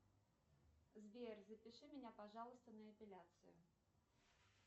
сбер запиши меня пожалуйста на эпиляцию